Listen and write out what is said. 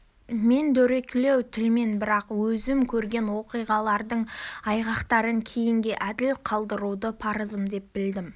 мен дөрекілеу тілмен бірақ өзім көрген оқиғалардың айғақтарын кейінге әділ қалдыруды парызым деп білдім бұл